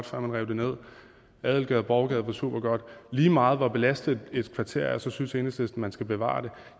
før man rev den ned at adelgade og borgergade var supergodt lige meget hvor belastet et kvarter er synes enhedslisten man skal bevare det